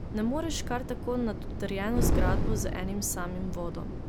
Ne moreš kar tako nad utrjeno zgradbo z enim samim vodom.